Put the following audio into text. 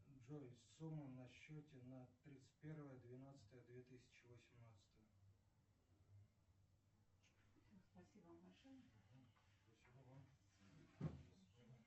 джой сумма на счете на тридцать первое двенадцатое две тысячи восемнадцатое